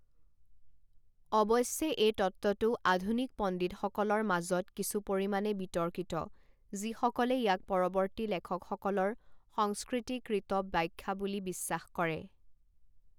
অৱশ্যে, এই তত্ত্বটো আধুনিক পণ্ডিতসকলৰ মাজত কিছু পৰিমাণে বিতৰ্কিত যিসকলে ইয়াক পৰৱৰ্তী লেখকসকলৰ সংস্কৃতিকৃত ব্যাখ্যা বুলি বিশ্বাস কৰে।